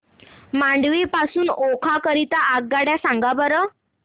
मांडवी पासून ओखा करीता रेल्वेगाड्या सांगा बरं